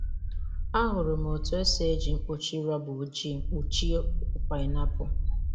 Ahụrụ m otu esi eji mkpuchi rọba ojii kpuchie okpu painiapulu.